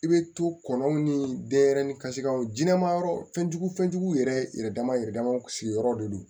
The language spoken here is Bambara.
I bɛ to kɔnɔw ni denyɛrɛnin kasikaw jɛni ma yɔrɔ fɛn jugu fɛnjugu yɛrɛ yɛrɛ dama yɛrɛ sigiyɔrɔ de do